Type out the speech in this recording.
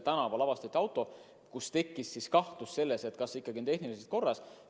Tänaval märgati autot, mille puhul tekkis kahtlus, kas see ikka on tehniliselt korras.